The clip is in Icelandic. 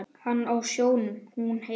Hann á sjónum, hún heima.